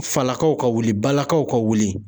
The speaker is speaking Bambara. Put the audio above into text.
Falakaw ka wuli , balakaw ka wuli